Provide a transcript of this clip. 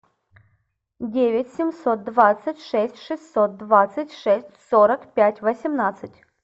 девять семьсот двадцать шесть шестьсот двадцать шесть сорок пять восемнадцать